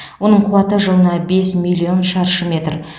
оның қуаты жылына бес миллион шаршы метр